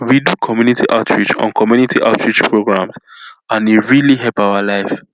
we do community outreach on community outreach programs and e really help our life